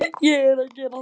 Ég er að gera það.